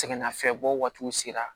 Sɛgɛnnafiɲɛbɔ waatiw sera